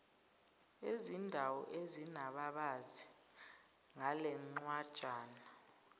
ezindawo ezinababazi ngalencwajana